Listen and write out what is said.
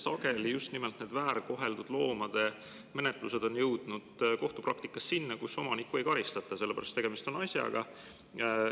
Sageli on need väärkoheldud loomade menetlused jõudnud kohtupraktikas selleni, et omanikku ei karistata, sellepärast et tegemist on asjaga.